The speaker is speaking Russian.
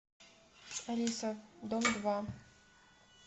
алиса дом два